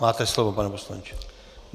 Máte slovo, pane poslanče.